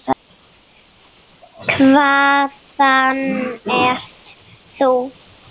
Hvaðan ert þú?